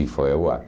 E foi ao ar.